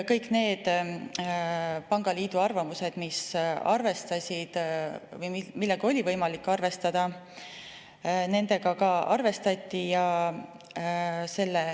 Kõiki pangaliidu arvamusi, millega oli võimalik arvestada, ka arvestati.